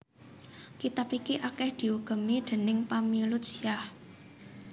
Kitab iki akèh diugemi déning pamilut Syiah